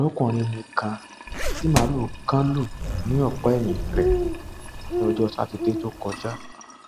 ọdọkùnrin mi kan tí màlúù kan lù ní ọpá ẹyìn rè ní ọjọ sátidé tó kọjá